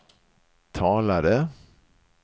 talade